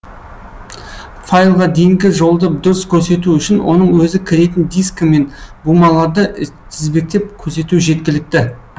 файлға дейінгі жолды дұрыс көрсету үшін оның өзі кіретін дискі мен бумаларды тізбектеп көрсету жеткілікті